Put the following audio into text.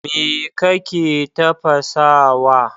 Me kake tafasawa?